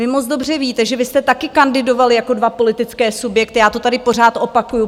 Vy moc dobře víte, že vy jste taky kandidovali jako dva politické subjekty, já to tady pořád opakuju.